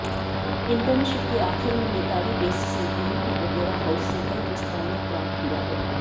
internship के आखिर में नेताली डेससे प्रमुख ओपेरा हाउस से कई प्रस्तावों प्राप्त हुआ है